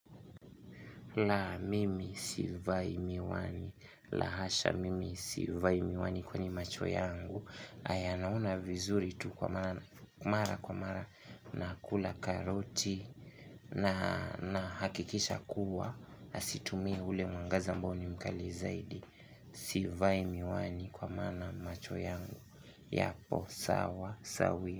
La mimi sivai miwani la hasha mimi sivai miwani kwenye macho yangu aya naona vizuri tu kwa mara kwa mara nakula karoti na hakikisha kuwa hazitumii ule mwangaza ambao ni mkali zaidi sivai miwani kwa maana macho yangu yapo sawa sawia.